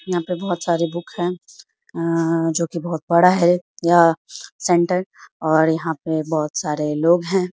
यहां पे बोहोत सारे बुक है जो कि बोहोत बड़ा है यह सेंटर और यहां पे बोहोत सारे लोग है।